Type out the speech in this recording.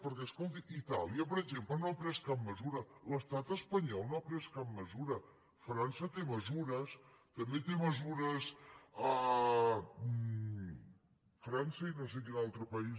perquè escoltin itàlia per exemple no ha pres cap mesura l’estat espanyol no ha pres cap mesura frança té mesures també té mesures frança i no sé quin altre país